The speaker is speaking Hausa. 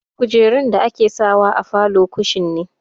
Kujerun da ake sawa a falo kushin ne.